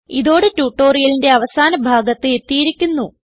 ഇതോടെ ട്യൂട്ടോറിയലിന്റെ അവസാന ഭാഗത്ത് എത്തിയിരിക്കുന്നു